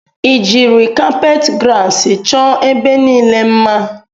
I jiri kapet grasi chọọ ebe niile mma?